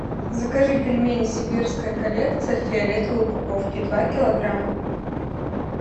закажи пельмени сибирская коллекция в фиолетовой упаковке два килограмма